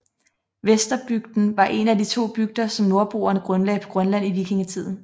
Vesterbygden var en af de to bygder som nordboerne grundlagde på Grønland i vikingetiden